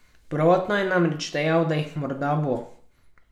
Prvotno je namreč dejal, da jih morda bo.